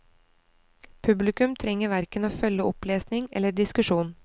Publikum trenger hverken å følge opplesning eller diskusjon.